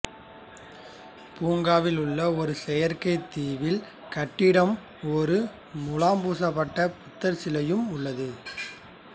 பூங்காவில் உள்ள ஒரு செயற்கை தீவில் கட்டிடம் ஒரு முலாம் பூசப்பட்ட புத்தர் சிலையுடன் உள்ளது